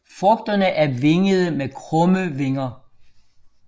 Frugterne er vingede med krumme vinger